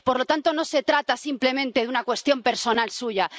Por lo tanto, no se trata simplemente de una cuestión personal suya.